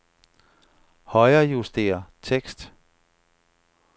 Højrejuster tekst.